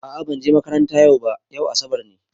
A'a ban je makaranta yau ba, yau asabar ne.